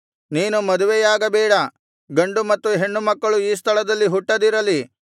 ನೀನು ಮದುವೆಯಾಗಬೇಡ ಗಂಡು ಮತ್ತು ಹೆಣ್ಣು ಮಕ್ಕಳು ಈ ಸ್ಥಳದಲ್ಲಿ ಹುಟ್ಟದಿರಲಿ